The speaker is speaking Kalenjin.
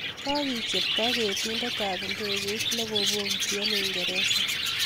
kokicherto ketindik ab ndeket nekobokiti eng uingereza